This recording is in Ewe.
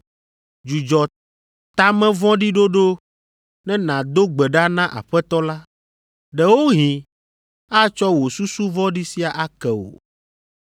Dzudzɔ ta me vɔ̃ɖi ɖoɖo ne nàdo gbe ɖa na Aƒetɔ la. Ɖewohĩ atsɔ wò susu vɔ̃ɖi sia ake wò,